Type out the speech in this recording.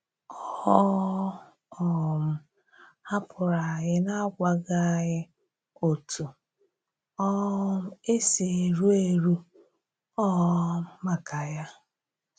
Ọ um hapụrụ̀ anyị n’agwàghị̀ anyị òtù um e si èrù érù um maka ya.